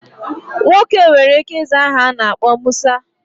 Nwoke nwere ike iza aha ana akpo Musa.